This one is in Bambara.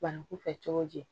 Banaku fɛ cogo di